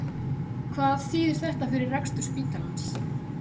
Hvað þýðir þetta fyrir rekstur spítalans?